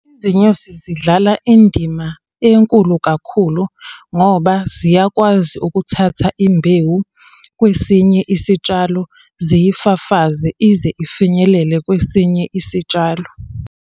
Izinyosi zidlala indima enkulu kakhulu, ngoba ziyakwazi ukuthatha imbewu kwesinye isitshalo ziyifafaze ize ifinyelele kwesinye isitshalo.